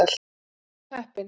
Alltaf jafn heppinn!